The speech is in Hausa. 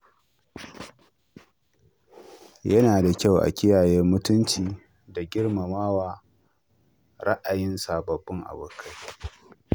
Yana da kyau a kiyaye mutunci da girmama ra’ayin sabbin abokai.